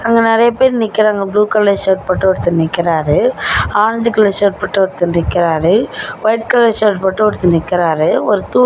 அங்க நெறையா பெர் நிக்கிறாங்க ப்ளூ கலர் ஷர்ட் போட்டு ஒருத்தர் நிக்கிறாரு ஆரஞ்சு கலர் ஷர்ட் பொட்டு ஒருத்தர் நிக்கிறாரு வைட் கலர் ஷர்ட் பொட்டு ஒருத்தர் நிக்கிறாரு ஒரு தூண்.